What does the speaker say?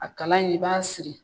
A kalan in i b'a siri.